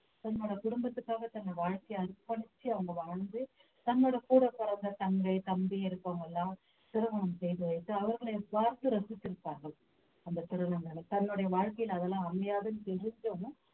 தன்னோட குடும்பத்துக்காக தன் வாழ்க்கைய அர்ப்பணிச்சு அவங்க வாழ்ந்து தன்னோட கூடப் பிறந்த தங்கை தம்பி இருக்கவங்க எல்லாம் திருமணம் செய்து வைத்து அவர்களை பார்த்து ரசித்திருப்பார்கள் அந்த திருநங்கை தன்னுடைய வாழ்க்கையில அதெல்லாம் அமையாதுன்னு தெரிஞ்சும்